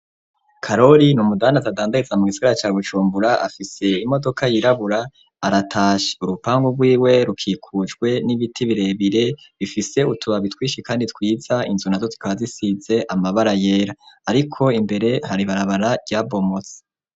Karori, ni umudandaza, adandariza mu gisigara ca Bujumbura; afise imodoka yirabura, aratashe; urupangu rwiwe, rukikujwe n'ibiti birebire, bifise utubabi twinshi, kandi twiza; inzu nazo, zikaba zisize amabara yera; ariko imbere, hari ibarabara ryabomotse.